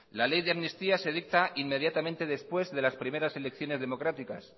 la ley de amnistía se dicta inmediatamente después de las primeras elecciones democráticas